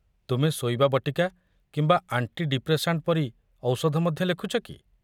ତୁମେ ଶୋଇବା ବଟିକା କିମ୍ବା ଆଣ୍ଟି ଡିପ୍ରେସାଣ୍ଟ ପରି ଔଷଧ ମଧ୍ୟ ଲେଖୁଛ କି?